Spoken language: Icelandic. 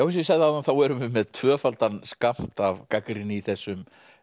ég sagði áðan þá erum við með tvöfaldan skammt af gagnrýni í þessum